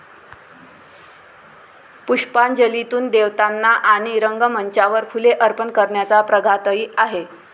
पुष्पांजलीतून देवतांना आणि रंगमंचावर फुले अर्पण करण्याचा प्रघातही आहे.